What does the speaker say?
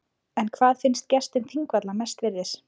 En hvað finnst gestum þingvalla mest virðis?